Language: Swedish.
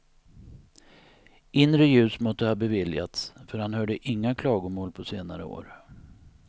Inre ljus måtte ha beviljats, för han hörde inga klagomål på senare år.